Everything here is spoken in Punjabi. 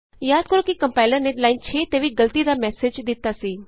ਯਾਦ ਕਰੋ ਕਿ ਕੰਪਾਇਲਰ ਨੇ ਲਾਈਨ 6 ਤੇ ਵੀ ਗਲਤੀ ਦਾ ਮੈਸਜ਼ ਦਿਤਾ ਸੀ